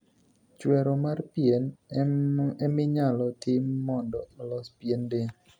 Chwero mar pien em inyalo tim mondo olos pien del.